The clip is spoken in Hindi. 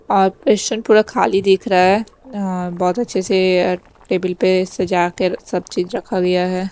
और परिसर पूरा खाली देख रहा है अं यहां बहोत अच्छे से टेबिल पे सजा कर सब चीज रखा गया है।